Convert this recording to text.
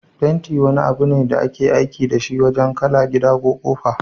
Fenti wani abune da ake aiki dashi wajan kala gida da ƙofa.